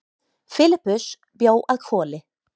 Filippus bjó að Hvoli.